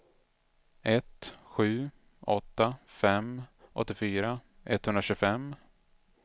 ett sju åtta fem åttiofyra etthundratjugofem